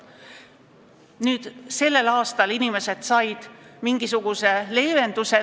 Tänavu need inimesed said mingisuguse leevenduse.